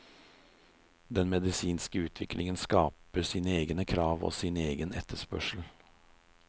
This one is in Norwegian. Den medisinske utviklingen skaper sine egne krav og sin egen etterspørsel.